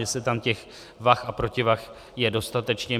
Jestli tam těch vah a protivah je dostatečně.